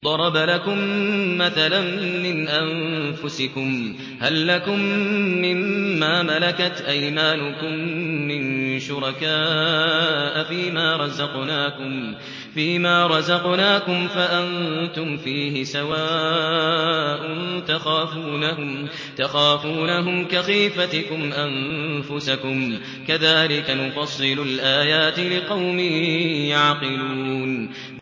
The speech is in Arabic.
ضَرَبَ لَكُم مَّثَلًا مِّنْ أَنفُسِكُمْ ۖ هَل لَّكُم مِّن مَّا مَلَكَتْ أَيْمَانُكُم مِّن شُرَكَاءَ فِي مَا رَزَقْنَاكُمْ فَأَنتُمْ فِيهِ سَوَاءٌ تَخَافُونَهُمْ كَخِيفَتِكُمْ أَنفُسَكُمْ ۚ كَذَٰلِكَ نُفَصِّلُ الْآيَاتِ لِقَوْمٍ يَعْقِلُونَ